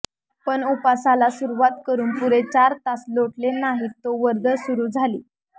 पण उपासाला सुरवात करून पुरे चार तास लोटले नाहीत तो वर्दळ सुरू झाली